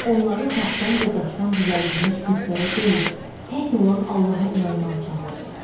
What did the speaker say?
Onları taxtdan və daşdan düzəldilmiş bütlərə deyil, tək olan Allaha inanmağa çağırdı.